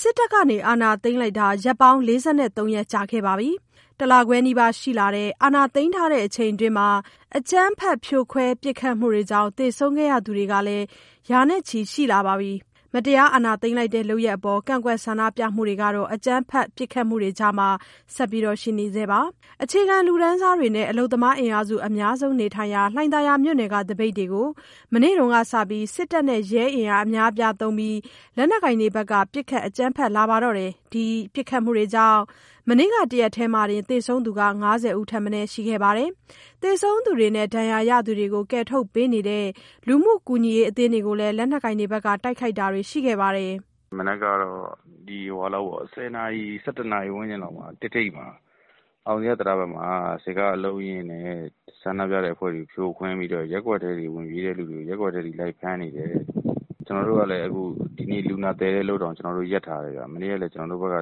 စစ်တပ်က အာဏာသိမ်းလိုက်တာ ရက်ပေါင်း ၄၃ ရက် ကြာခဲ့ပါပြီ။ ၁ လခွဲနီးပါး ရှိလာတဲ့ အာဏာသိမ်းထားတဲ့အချိန်အတွင်းမှာ အကြမ်းဖက်ဖြိုခွဲ ပစ်ခတ်မှုတွေကြောင့် သေဆုံးခဲ့ရသူတွေလည်း ရာနဲ့ချီရှိလာပါပြီ။ မတရား အာဏာသိမ်းလိုက်တဲ့ လုပ်ရပ်အပေါ် ကန့်ကွက်ဆန္ဒပြမှုတွေကတော့ အကြမ်းဖက်ပစ်ခတ်မှုတွေကြားထဲမှာ ဆက်ရှိနေဆဲပါ။ အခြေခံလူတန်းစားတွေနဲ့ အလုပ်သမားအင်အားစု အများဆုံးနေထိုင်ရာ လှိုင်သာယာမြို့နယ်က သပိတ်တွေကို မနေ့တုန်းက စပြီး စစ်တပ်နဲ့ ရဲအင်အား အများအပြားသုံးပြီး လက်နက်ကိုင်တွေဘက်က ပစ်ခတ်အကြမ်းဖက်လာပါတော့တယ်။ အဲဒီပစ်ခတ်မှုတွေကြောင့် မနေ့က တရက်တည်းမှာတင် သေဆုံးသူ ၅၀ ထက်မနည်း ရှိခဲ့တာပါ။ သေဆုံးသူတွေနဲ့ ဒဏ်ရာရသူတွေကို ကယ်ထုတ်ပေးနေတဲ့ လူမှုကူညီရေးအသင်းတွေကိုလည်း လက်နက်ကိုင်တွေဘက်က တိုက်ခိုက်တာတွေရှိခဲ့ပါတယ်။ "မနက်ကတော့ ၁၀ နာရီ - ၁၁နာရီ ဝန်းကျင်လောက်မှာ ၁ ထိပ် အောင်ဇေယျတံတားဘက်မှာ စစ်ကားအလုံးအရင်းနဲ့ ဆန္ဒပြတဲ့အဖွဲ့တွေကို ဖြိုခွင်းပြီးတော့ ရပ်ကွက်ထဲထိ ဝင်ပြေးတဲ့သူတွေကို ရပ်ကွက်ထဲတွေထိ လိုက်ဖမ်းနေတယ်။ ကျနော်တို့ကလည်း ဒီနေ့လူနာသယ်တဲ့အလုပ်တောင် ရပ်ထားရတယ်ဗျ။ မနေ့ကလည်း ကျနော်တို့ဘက်က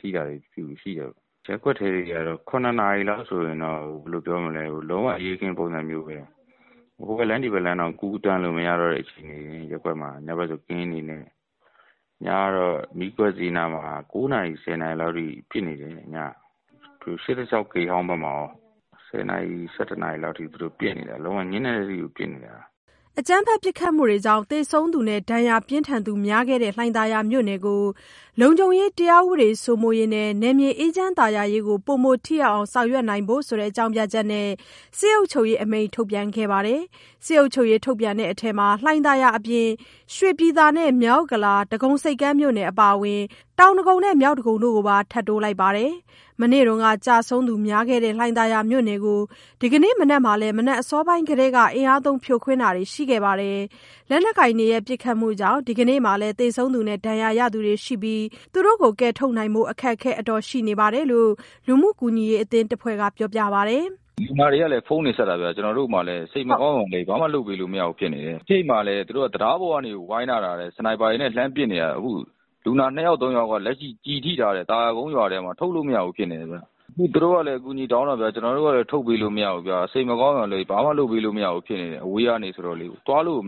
ထိတာတွေရှိတော့။ ရပ်ကွက်ထဲတွေကတော့ ၇ နာရီလောက်ဆိုရင်တော့ ဘယ်လိုပြောမလဲ... လုံးဝအရေးအခင်း ပုံစံမျိုးပဲ။ ဟိုဘက်လမ်း၊ ဒီဘက်လမ်းတောင် ကူးသွားလို့မရတဲ့ အခြေအနေမျိုး၊ ညဘက်ဆို ကင်းတွေလှည့်တယ်။ ညကတော့ မီးခွက်ဈေးနားမှာ ၉ နာရီ - ၁၀ နာရီလောက်ထိ ပစ်တယ်။ ၈၆ ဂိတ်ဟောင်းဘက်မှာရော ၁၀ နာရီ - ၁၁ နာရီလောက်ထိ လုံးဝညဉ့်နက်တဲ့အထိကို ပစ်နေတာ။" အကြမ်းဖက်ပစ်ခတ်မှုတွေကြောင့် သေဆုံးသူနဲ့ ဒဏ်ရာပြင်းထန်သူ များခဲ့တဲ့ လှိုင်သာယာမြို့နယ်ကို လုံခြုံရေးတရားဥပဒေ စိုးမိုးရေးနဲ့ နယ်မြေအေးချမ်းသာယာရေးကို ပိုမိုထိရောက်အောင် ဆောင်ရွက်စေဖို့ဆိုတဲ့ အကြောင်းပြချက်နဲ့ စစ်အုပ်ချုပ်ရေးအမိန့် ထုတ်ပြန်ခဲ့ပါတယ်။ စစ်အုပ်ချုပ်ရေးထုတ်ပြန်တဲ့အထဲ လှိုင်သာယာအပြင် ရွှေပြည်သာနဲ့ မြောက်ဥက္ကလာ၊ ဒဂုံဆိပ်ကမ်းမြို့နယ် အပါအဝင် တောင်ဒဂုံနဲ့ မြောက်ဒဂုံတို့ကိုပါ ထပ်တိုးလိုက်ပါတယ်။ မနေ့တုန်းက ကျဆုံးသူများခဲ့တဲ့ လှိုင်သာယာမြို့နယ်ကို ဒီကနေ့မှာလည်း မနက်အစောပိုင်းကတည်းက အင်အားသုံးဖြိုခွဲတာတွေ ရှိခဲ့ပါတယ်။ လက်နက်ကိုင်တွေရဲ့ ပစ်ခတ်မှုကြောင့် ဒီကနေ့မှာလည်း သေဆုံးသူနဲ့ ဒဏ်ရာရသူတွေရှိနေပြီး သူတို့တွေကို ကယ်ထုတ်နိုင်ဖို့က အခက်အခဲရှိနေတယ်လို့ လူမှုကူညီရေးအသင်းတဖွဲ့က ပြောပါတယ်။ "လူနာတွေက ဖုန်းတွေဆက်တယ်ဗျ၊ ကျနော်တို့မှာလည်း စိတ်မကောင်းရုံက လွဲပြီး ဘာမှလုပ်ပေးလို့ မရဘူးဖြစ်နေတယ်။ ရှေ့မှာလည်း သူတို့က တံတားပေါ်ကနေ ဝိုင်းထားတာ Sniper တွေနဲ့ လှမ်းပစ်နေတာ၊ အခု လူနာ ၂ ယောက် - ၃ ယောက်လောက်က အခုလက်ရှိ သာယာကုန်းရွာထဲမှာ ကျည်ထိထားတာ ထုတ်လို့မရဘူးဖြစ်နေတယ်ဗျ။ အခု သူတို့ကလည်း အကူအညီတောင်းတာ ကျနော်တို့ကလည်း ထုတ်ပေးလို့မရဘူးဗျာ။ သွားလို့ကို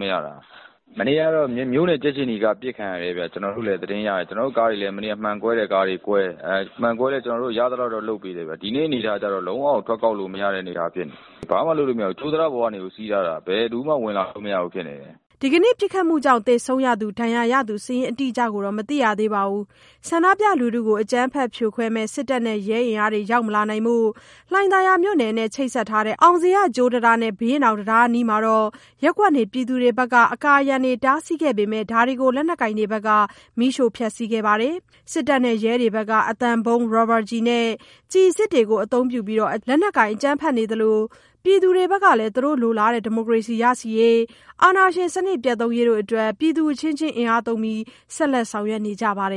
မရတာ။ မနေ့ကတော့ မြို့နယ်ကြက်ခြေနီကား ပစ်ခံရတယ်ဗျ။ ကျနော်တို့ကားတွေလည်း မှန်ကွဲတဲ့ကားတွေကွဲလည်း ရသလောက်တော့ လုပ်ပေးတယ်ဗျ။ ဒီနေ့ဖြစ်နေတာကျတော့ လုံးဝထွက်ကောက်လို့ မရတဲ့အနေအထား ဖြစ်နေတယ်။ ဘာမှလုပ်လို့မရဘူး၊ ကြိုးတံတားပေါ်ကနေကို စီးထားတာ၊ ဘယ်လူမှ ဝင်လာလို့မရဘူးဖြစ်နေတယ်။" ဒီကနေ့ ပစ်ခတ်မှုတွေကြောင့် သေဆုံး၊ ဒဏ်ရာရသူစာရင်းအတိအကျတော့ မသိရသေးပါဘူး။ ဆန္ဒပြလူထုကို အကြမ်းဖက်ဖြိုခွဲမယ့် စစ်တပ်နဲ့ ရဲအင်အားတွေ ရောက်မလာနိုင်ဖို့ လှိုင်သာယာမြို့နယ်နဲ့ ချိတ်ဆက်ထားတဲ့ အောင်ဇေယျ ကြိုးတံတားနဲ့ ဘုရင့်နောင်တံတားအနီးက ရပ်ကွက်နေပြည်သူတွေ အကာအရံတွေ တားဆီးခဲ့ပေမဲ့ ဒါတွေကို လက်နက်ကိုင်တွေဘက်က မီးရှို့ဖျက်စီးခဲ့ပါတယ်။ စစ်တပ်နဲ့ ရဲတွေဘက်က အသံဗုံး၊ ရာဘာကျည်နဲ့ ကျည်အစစ်တို့ကို အသုံးပြုပြီး လက်နက်ကိုင်အကြမ်းဖက်နေကြသလို၊ ပြည်သူတွေဘက်ကလည်း သူတို့လိုလားတဲ့ ဒီမိုကရေစီရရှိရေး၊ အာဏာရှင်စနစ် ပျက်သုဉ်းရေးတို့အတွက် ပြည်သူအချင်းချင်း အင်အားသုံးပြီး ဆက်လက်ဆောင်ရွက်နေကြပါတယ်